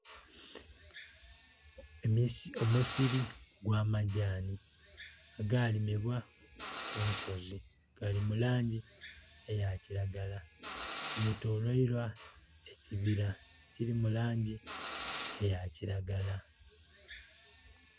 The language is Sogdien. Omusiri ogw'amagyani agalimibwa ku nsozi gali mu langi eya kiragala getoleilwa ekibira ekiri mu langi eya kiragala.